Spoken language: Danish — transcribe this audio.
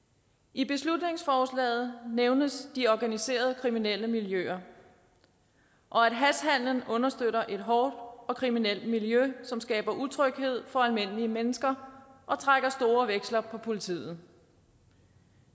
i beslutningsforslaget nævnes de organiserede kriminelle miljøer og at hashhandelen understøtter et hårdt og kriminelt miljø som skaber utryghed for almindelige mennesker og trækker store veksler på politiet